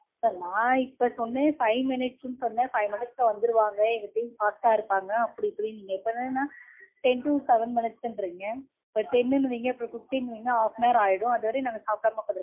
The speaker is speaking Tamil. sir நா இப்போ சொன்னேன் five minutes னு சொன்னேன். five minutes ல வந்துருவாங்க எங்க team fast டா இருப்பாங்க அப்படி இப்படினீங்க. இப்போ என்னடான்னா ten to seven minutes ங்கறீங்க. இப்போ ten னு வீங்க அப்பறம் fifteen னு வீங்க, half an hour ஆயிரும். அதுவரைக்கும் நாங்க சாப்டாம உட்காந்திருக்கனும்.